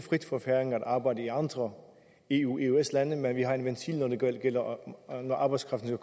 frit for færingerne at arbejde i andre eu eøs lande men vi har en ventil når arbejdskraften